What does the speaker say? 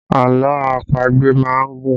Àlọ́ àpagbè má ń gùn